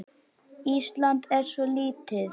Ísland er svo lítið!